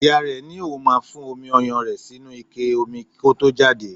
Ìyá rẹe ní òun máa fún omi ọyàn rẹ̀ sínú ike omi kó tó jáde.